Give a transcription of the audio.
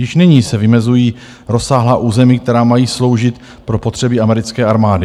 Již nyní se vymezují rozsáhlá území, která mají sloužit pro potřeby americké armády.